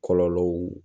Kɔlɔlɔw